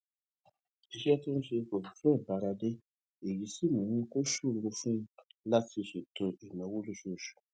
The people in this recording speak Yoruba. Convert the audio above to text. iṣé tó ń ṣe kò fi bẹ́ẹ̀ bára dé èyí sì mú kó ṣòro fún un láti ṣètò ìnáwó lóṣooṣù